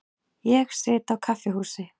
Ég sit á kaffihúsi.